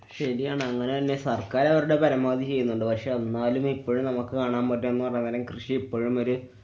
ശരിയാണ്. അങ്ങനെതന്നെ സര്‍ക്കാര്‍ അവരുടെ പരമാവതി ചെയ്യുന്നുണ്ട്. പക്ഷെ എന്നാലും എപ്പളും നമുക്ക് കാണാന്‍ പറ്റണതുന്നു പറഞ്ഞാല് കൃഷി ഇപ്പളും ഒര്